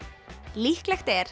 líklegt er